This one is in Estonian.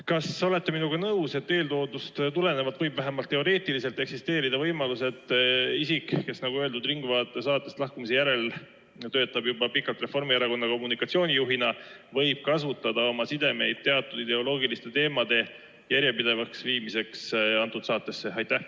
Kas te olete minuga nõus, et eeltoodust tulenevalt võib vähemalt teoreetiliselt eksisteerida võimalus, et isik, kes "Ringvaate" saatest lahkumise järel töötab juba pikalt Reformierakonna kommunikatsioonijuhina, võib kasutada oma sidemeid teatud ideoloogiliste teemade järjepidevaks viimiseks nimetatud saatesse?